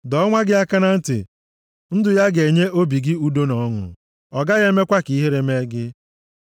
Dọọ nwa gị aka na ntị, ndụ ya ga-enye obi gị udo na ọṅụ. Ọ gaghị emekwa ka ihere mee gị.